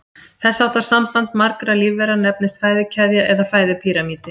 Þess háttar samband margra lífvera nefnist fæðukeðja eða fæðupíramídi.